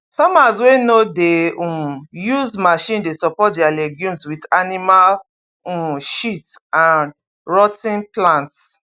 farmers wey no dey um use machine dey support their legumes with animal um shit and rot ten plant